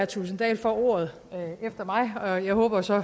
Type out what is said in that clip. thulesen dahl får ordet efter mig og jeg håber så